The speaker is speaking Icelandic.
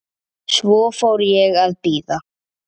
Svo fór ég að bíða.